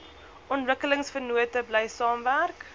ontwikkelingsvennote bly saamwerk